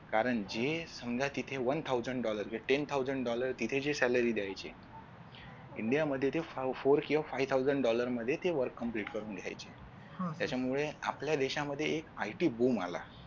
कारण जे समजा तिथे one thousand dollar ten thousand dollar तिथे जे salary दयायचे india मध्ये ते four किंवा five thousand dollar मध्ये ते work complete करून घ्यायचे हम्म त्याच्यामुळे आपल्या देशामध्ये एक ITboom आला.